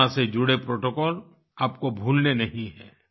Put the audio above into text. corona से जुड़े protocols आपको भूलने नहीं है